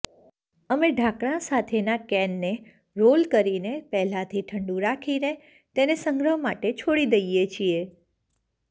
અમે ઢાંકણા સાથેના કેનને રોલ કરીને પહેલાથી ઠંડું રાખીને તેને સંગ્રહ માટે છોડી દઈએ છીએ